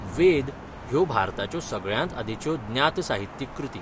वेद ह्यो भारताच्यो सगळ्यांत आदींच्यो ज्ञात साहित्यीक कृती.